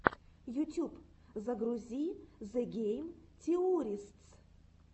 ютюб загрузи зе гейм теористс